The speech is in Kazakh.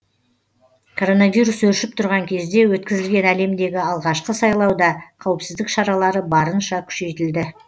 коронавирус өршіп тұрған кезде өткізілген әлемдегі алғашқы сайлауда қауіпсіздік шаралары барынша күшейтілді